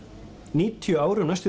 níutíu árum næstum